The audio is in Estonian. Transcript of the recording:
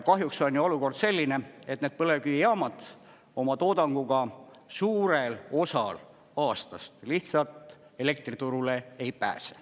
Kahjuks on ju olukord selline, et need põlevkivijaamad oma toodanguga suurel osal aastast lihtsalt elektriturule ei pääse.